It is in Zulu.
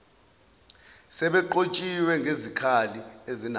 sebenqotshiwe ngezikhali ezinamandla